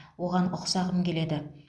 оған ұқсағым келеді